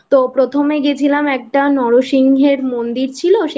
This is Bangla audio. তো প্রথমে গেছিলাম একটা নরসিংহের মন্দির ছিল